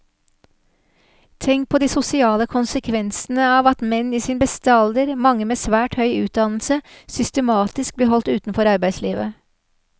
Tenk på de sosiale konsekvensene av at menn i sin beste alder, mange med svært høy utdannelse, systematisk blir holdt utenfor arbeidslivet.